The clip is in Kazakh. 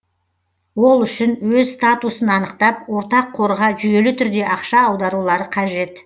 ол үшін өз статусын анықтап ортақ қорға жүйелі түрде ақша аударулары қажет